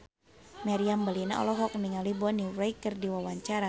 Meriam Bellina olohok ningali Bonnie Wright keur diwawancara